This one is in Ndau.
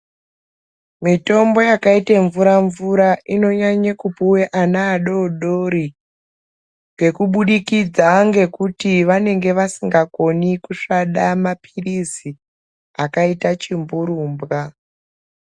Mitombo yakaite mvura mvura inonyanye kupiwe Ana adodori ngekubudikidza ngekuti vanenge vasingakoni kusvada mapirizi akaita chimburumbwa